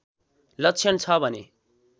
लक्षण छ भने